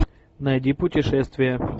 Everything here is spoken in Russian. найди путешествия